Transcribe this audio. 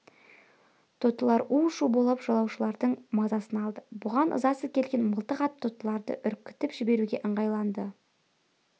тотылар у-шу боп жолаушылардың мазасын алды бұған ызасы келген мылтық атып тотыларды үркітіп жіберуге ыңғайланды